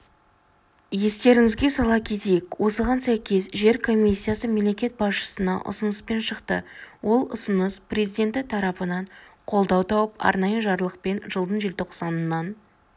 естеріңізге сала кетейік осыған сәйкес жер комиссиясы мемлекет басшысына ұсыныспен шықты ол ұсыныс президенті тарапынан қолдау тауып арнайы жарлықпен жылдың желтоқсанынан